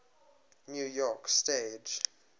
new york stage